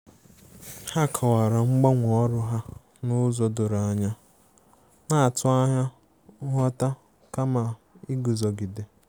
Ha kọwara mgbanwe ọrụ ha n'ụzọ doro anya, na-atụ anya nghọta kama iguzogide.